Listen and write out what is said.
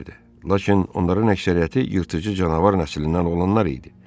Lakin onların əksəriyyəti yırtıcı canavar nəslindən olanlar idi.